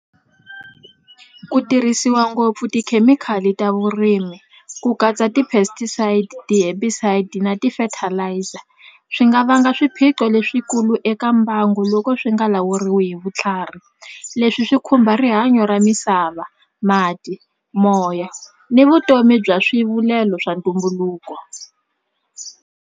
Ku tirhisiwa ngopfu tikhemikhali ta vurimi ku katsa ti-pesticides, ti-herbicides na ti-fertiliser swi nga vanga swiphiqo leswikulu eka mbangu loko swi nga lawuriwi hi vutlhari leswi swi khumba rihanyo ra misava mati moya ni vutomi bya swivulelo swa ntumbuluko.